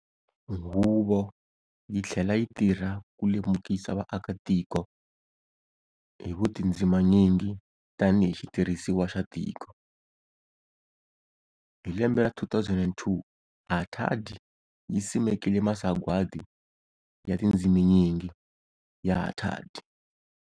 Huvo yi tlhela yi tirha ku lemukisa vaakatiko hi vutindziminyingi tanihi xitirhisiwa xa tiko. Hi lembe ra 2002 HATAD yi simekile Masagwadi ya Tindziminyingi ya HATAD.